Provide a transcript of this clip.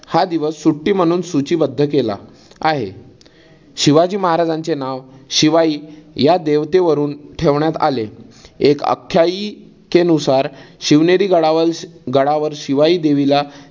हा दिवस सुट्टी म्हणून सूची बद्ध केला आहे. शिवाजी महाराजांचे नाव शिवाई या देवते वरून ठेवण्यात आले. एक आख्यायिके नुसार शिवनेरी गडावल गडावर शिवाई देवीला